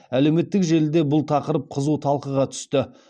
әлеуметтік желіде бұл тақырып қызу талқыға түсті